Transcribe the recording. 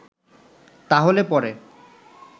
তাহলে পরে